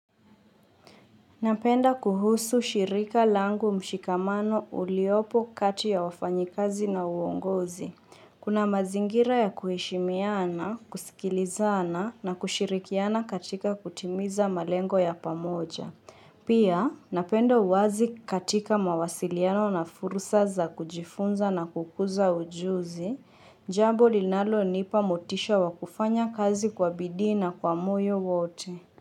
Napenda kuhusu shirika langu mshikamano uliopo kati ya wafanyikazi na uongozi. Kuna mazingira ya kuheshimiana, kusikilizana na kushirikiana katika kutimiza malengo ya pamoja. Pia, napenda uwazi katika mawasiliano na fursa za kujifunza na kukuza ujuzi, jambo linalo nipa motisha wakufanya kazi kwa bidii na kwa muyo wote.